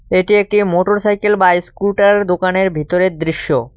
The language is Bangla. এটি একটি মোটরসাইকেল বা ইস্কুটার দোকানের ভিতরের দৃশ্য।